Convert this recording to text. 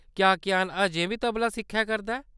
क्या कियान अजें बी तबला सिक्खै करदा ऐ ?